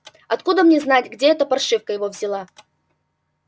откуда мне знать где эта паршивка его взяла